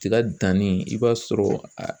Tiga danni i b'a sɔrɔ a